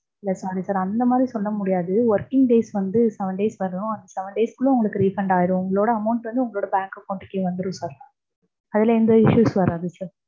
இல்ல sorry sir அந்த மாதிரி சொல்ல முடியாது, working days வந்து seven days வரும். அது seven days குள்ள உங்களுக்கு refund ஆயிடும். உங்களோட amount வந்து உங்களோட bank account கே வந்துரு sir. அதுல எந்த issues வராது sir.